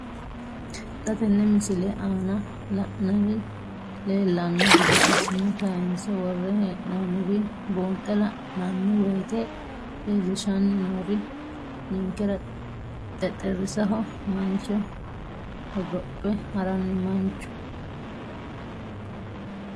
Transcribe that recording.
Xa tenne missile aana la'nara leellanno gede assine kayiinse worre hee'noonniri buunxe la'nanni woyiite leellishshanni noori ninkera xexxerisaho mancho hogophe haranni mancho.